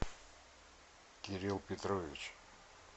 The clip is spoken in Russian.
кирилл петрович